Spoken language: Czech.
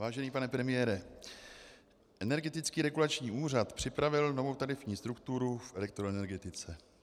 Vážený pane premiére, Energetický regulační úřad připravil novou tarifní strukturu v elektroenergetice.